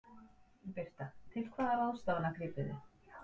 Birta: Til hvaða ráðstafana grípið þið?